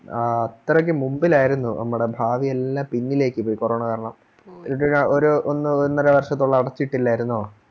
ആ അത്രയ്ക്ക് മുമ്പിൽ ആയിരുന്നു നമ്മുടെ ഭാവിയെല്ലാം പിന്നിലേക്ക് പോയി കൊറോണ കാരണം ഇതൊക്കെ ഒന്നോഒന്നരവർഷത്തോളം അടച്ചിട്ടിരിക്കുവല്ലായിരുന്നോ